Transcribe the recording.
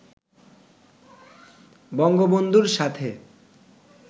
বঙ্গবন্ধুর সাথে